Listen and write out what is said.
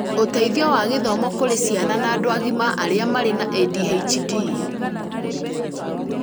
ũteithio wa gĩthomo kũrĩ ciana na andũ agima arĩa marĩ na ADHD